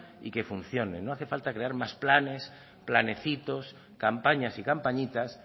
y que funcionen no hace falta crear más planes planecitos campañas y campañitas